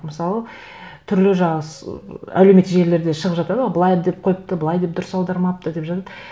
мысалы түрлі жаңа әлеуметтік желілерде шығып жатады ғой былай деп қойыпты былай деп дұрыс аудармапты деп жазады